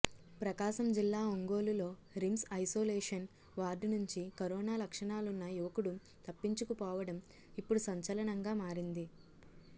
ప్రకాశం జిల్లా ఒంగోలులో RIMS isolation ward నుంచి కరోనా లక్షణాలున్న యువకుడు తప్పించుకుపోవడం ఇప్పుడు సంచలనంగా మారింది